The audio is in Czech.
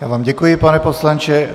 Já vám děkuji, pane poslanče.